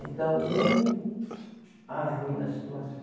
Então, um arruína a situação.